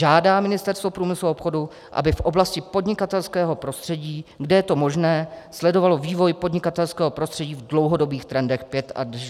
žádá Ministerstvo průmyslu a obchodu, aby v oblasti podnikatelského prostředí, kde je to možné, sledovalo vývoj podnikatelského prostředí v dlouhodobých trendech 5 až 10 let."